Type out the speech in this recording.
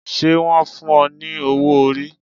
Ṣé wọn fún o ní owó orí